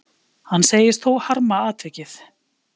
Hann segist þó harma atvikið.